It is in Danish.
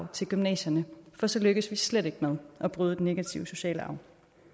til gymnasierne for så lykkes vi slet ikke med at bryde den negative sociale arv